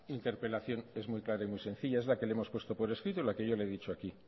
interpelación es muy clara y muy sencilla es la que le hemos puesto por escrito y la que yo le he dicho aquí